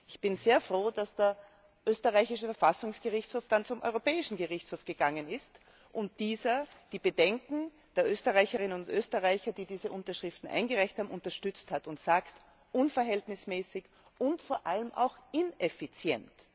Ich bin sehr froh, dass der österreichische Verfassungsgerichtshof dann zum Europäischen Gerichtshof gegangen ist und dieser die Bedenken der Österreicherinnen und Österreicher, die diese Unterschriften eingereicht haben, unterstützt hat und gesagt hat unverhältnismäßig und vor allem auch ineffizient.